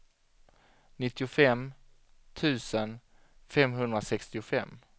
nittiofem tusen femhundrasextiofem